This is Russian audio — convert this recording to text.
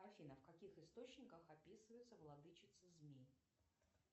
афина в каких источниках описывается владычица змей